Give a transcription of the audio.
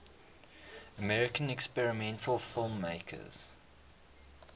american experimental filmmakers